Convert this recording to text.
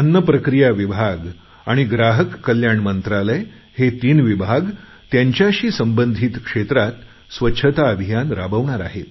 अन्न प्रक्रिया विभाग आणि ग्राहक कल्याण मंत्रालय हे तीन विभाग त्यांच्याशी संबधित क्षेत्रात स्वच्छता अभियान राबवणार आहेत